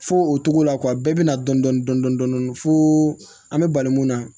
Fo o togo la kuwa bɛɛ bɛ na dɔn dɔn dɔn dɔn dɔn dɔn dɔn fo an bɛ bali mun na